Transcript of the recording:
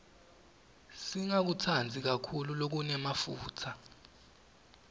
singakutsandzi kakhulu lokunemafutsa